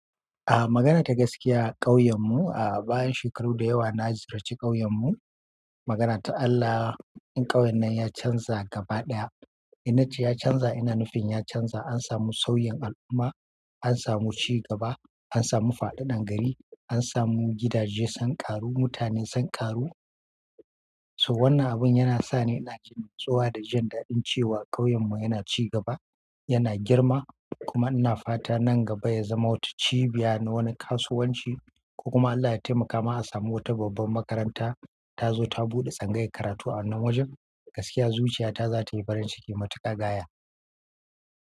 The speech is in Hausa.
A magana ta gaskiya ƙauyen mu a bayan shekaru da yawa na ziyarci ƙauyen mu magana ta Allah, in ƙauyen nan ya chanza gaba ɗaya inna ce ya canza, ina nufin ya canza. An samu sauyin al'umma, an samu ci gaba, an samu fa'ɗaɗan gari, an samu gidaje sun ƙaru, mutane sun ƙaru. So wannan abun yana sa ni ina jin tsowa da jin daɗin cewa ƙauyen mu yana ci gaba, yana girma. Kuma ina fata nan gaba ya zama wata cibiya na wani kasuwanci. Ko kuma Allah ya taimaka ma a samu wata babban makaranta ta zo ta buɗe tsangayar karatu a wannan wajen. Gaskiya zuciya ta zatayi farin ciki matuƙa gaya.